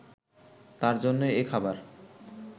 তার জন্যই এ খাবার